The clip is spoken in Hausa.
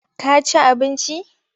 Ka ci abinci?